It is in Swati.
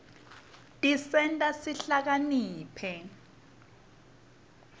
tisenta sihlakaniphe